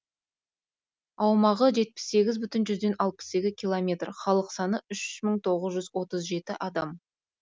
аумағы жетпіс сегіз бүтін жүзден алпыс екі километр халық саны үш мың тоғыз жүз отыз жеті адам